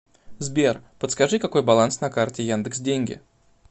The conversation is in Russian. сбер подскажи какой баланс на карте яндекс деньги